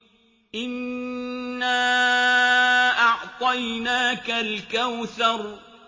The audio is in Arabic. إِنَّا أَعْطَيْنَاكَ الْكَوْثَرَ